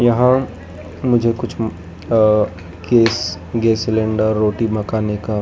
यहां मुझे कुछ आह किस गैस सिलेंडर रोटी मकानेका --